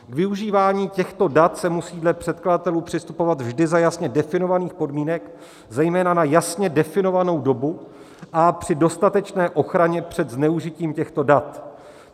K využívání těchto dat se musí dle předkladatelů přistupovat vždy za jasně definovaných podmínek, zejména na jasně definovanou dobu a při dostatečné ochraně před zneužitím těchto dat.